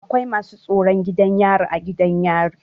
Akwai masu tsaron gidan yari a gidan yari.